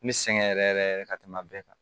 N bɛ sɛgɛn yɛrɛ yɛrɛ yɛrɛ ka tɛmɛ bɛɛ kan